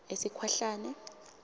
esikhwahlane